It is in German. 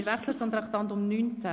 Wir wechseln zum Traktandum 19: